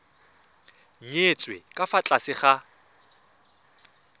nyetswe ka fa tlase ga